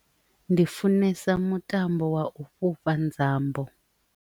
Ndi funesa mutambo wa u fhufha nzambo.